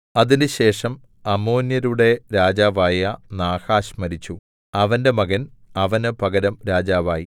അതിന്‍റെശേഷം അമ്മോന്യരുടെ രാജാവായ നാഹാശ് മരിച്ചു അവന്റെ മകൻ അവന് പകരം രാജാവായി